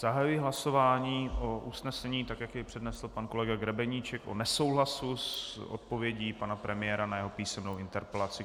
Zahajuji hlasování o usnesení, tak jak je přednesl pan kolega Grebeníček, o nesouhlasu s odpovědí pana premiéra na jeho písemnou interpelaci.